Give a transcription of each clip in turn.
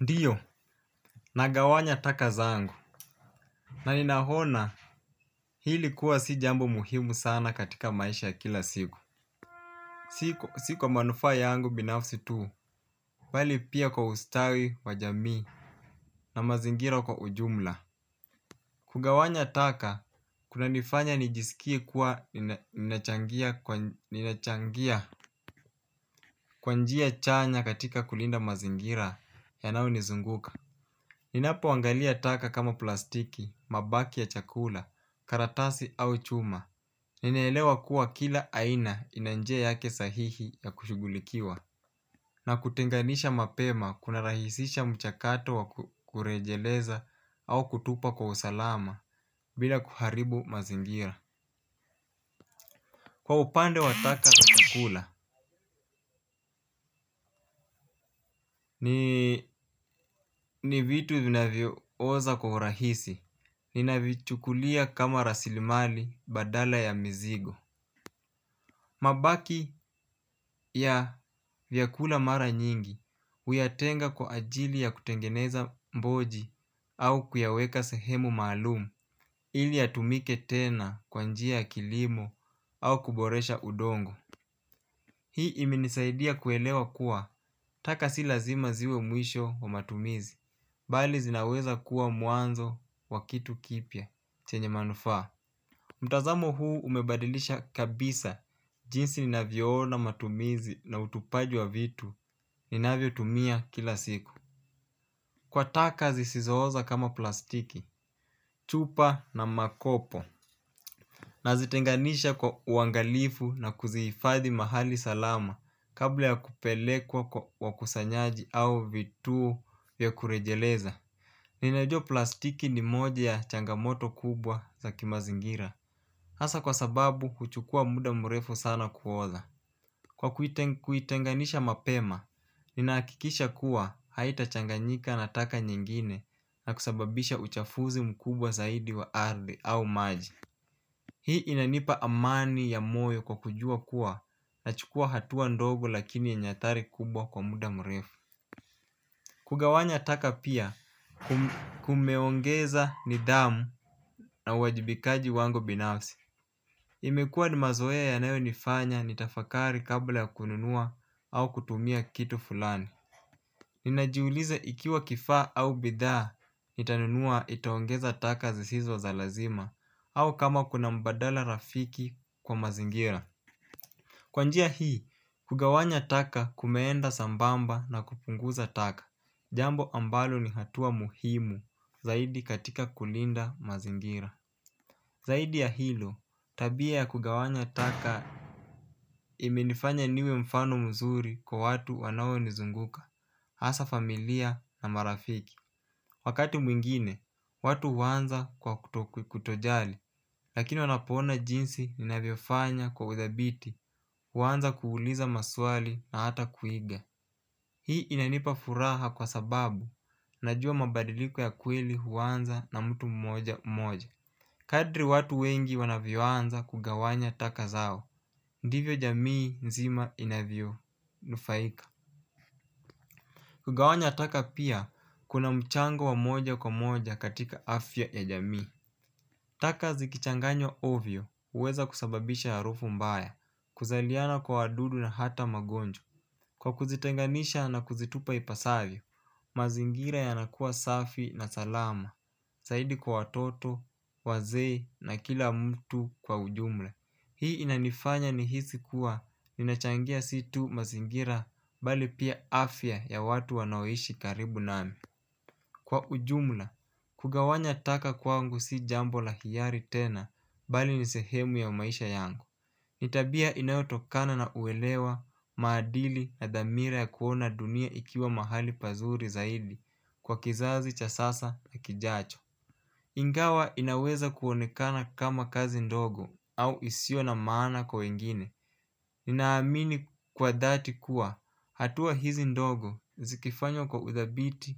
Ndio nagawanya taka zangu na ninaona hili kuwa si jambo muhimu sana katika maisha ya kila siku. Siko si kwa manufaa yangu binafsi tu bali pia kwa ustawi wa jamii na mazingira kwa ujumla. Kugawanya taka kunanifanya nijisikie kuwa ninachangia kwa njia chanya katika kulinda mazingira yanayo nizunguka. Ninapoangalia taka kama plastiki, mabaki ya chakula, karatasi au chuma, ninaelewa kuwa kila aina ina njia yake sahihi ya kushughulikiwa. Na kutenganisha mapema kunarahisisha mchakato wa kurejeleza au kutupa kwa usalama bila kuharibu mazingira. Kwa upande wa taka ya chakula, ni vitu vinavyooza kwa urahisi. Ninavichukulia kama rasilimali badala ya mizigo. Mabaki ya vyakula mara nyingi huyatenga kwa ajili ya kutengeneza mboji au kuyaweka sehemu maalumu ili yatumike tena kwa njia ya kilimo au kuboresha udongo. Hii imenisaidia kuelewa kuwa taka si lazima ziwe mwisho wa matumizi, bali zinaweza kuwa mwanzo wa kitu kipya chenye manufaa. Mtazamo huu umebadilisha kabisa jinsi ninavyoona matumizi na utupaji wa vitu ninavyotumia kila siku. Kwa taka zisizooza kama plastiki, chupa na makopo. Nazitenganisha kwa uangalifu na kuzihifadhi mahali salama kabla ya kupelekwa kwa wakusanyaji au vituo vya kurejeleza. Ninajua plastiki ni moja ya changamoto kubwa za kimazingira. Hasa kwa sababu huchukua muda mrefu sana kuoza. Kwa kuitenganisha mapema, ninahakikisha kuwa haitachanganyika na taka nyingine na kusababisha uchafuzi mkubwa zaidi wa ardhi au maji. Hii inanipa amani ya moyo kwa kujua kuwa nachukua hatua ndogo lakini yenye hatari kubwa kwa muda mrefu. Kugawanya taka pia kumeongeza nidhamu na uwajibikaji wangu binafsi. Imekua ni mazoea yanayonifanya nitafakari kabla ya kununua au kutumia kitu fulani. Ninajiuliza ikiwa kifaa au bidhaa nitanunua itaongeza taka zisizo za lazima au kama kuna mbadala rafiki kwa mazingira. Kwa njia hii, kugawanya taka kumeenda sambamba na kupunguza taka. Jambo ambalo ni hatua muhimu zaidi katika kulinda mazingira. Zaidi ya hilo, tabia ya kugawanya taka imenifanya niwe mfano mzuri kwa watu wanaonizunguka. Hasa familia na marafiki. Wakati mwingine, watu huanza kwa kutojali. Lakini wanapoona jinsi ninavyofanya kwa udhabiti huanza kuuliza maswali na hata kuiga. Hii inanipa furaha kwa sababu najua mabadiliko ya kweli huanza na mtu mmoja mmoja. Kadri watu wengi wanavyoanza kugawanya taka zao ndivyo jamii nzima inavyo nufaika. Kugawanya taka pia kuna mchango wa moja kwa moja katika afya ya jamii. Taka zikichanganywa ovyo huweza kusababisha harufu mbaya. Kuzaliana kwa wadudu na hata magonjwan kwa kuzitenganisha na kuzitupa ipasavyo, mazingira yanakuwa safi na salama. Zaidi kwa watoto, wazee na kila mtu kwa ujumla. Hii inanifanya nihisi kuwa ninachangia si tu mazingira bali pia afya ya watu wanaoishi karibu nami. Kwa ujumla, kugawanya taka kwangu si jambo la hiari tena, bali ni sehemu ya maisha yangu. Ni tabia inayotokana na uelewa, maadili na dhamira ya kuona dunia ikiwa mahali pazuri zaidi. Kwa kizazi cha sasa na kijacho. Ingawa inaweza kuonekana kama kazi ndogo au isiyo na maana kwa wengine, ninaamini kwa dhati kuwa hatua hizi ndogo zikifanywa kwa uthabiti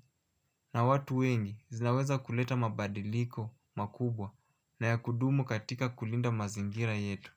na watu wengi zinaweza kuleta mabadiliko makubwa. Na ya kudumu katika kulinda mazingira yetu.